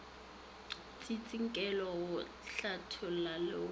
tsintsinkelo go hlatholla le go